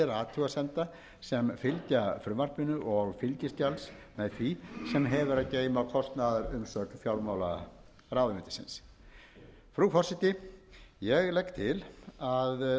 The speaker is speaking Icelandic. athugasemda sem fylgja frumvarpinu og fylgiskjals með því sem hefur að geyma kostnaðarumsögn fjármálaráðuneytisins frú forseti ég legg til að